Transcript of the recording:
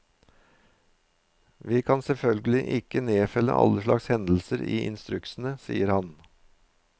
Vi kan selvfølgelig ikke nedfelle alle slags hendelser i instruksene, sier han.